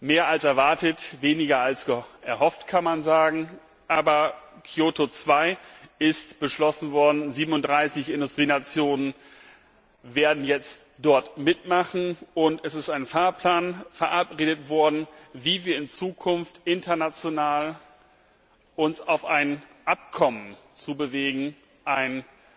Mehr als erwartet, weniger als erhofft, kann man sagen. Aber Kyoto 2 ist beschlossen worden, 37 Industrienationen werden jetzt dort mitmachen, und es ist ein Fahrplan verabredet worden, wie wir uns in Zukunft international auf ein Abkommen zu bewegen, ein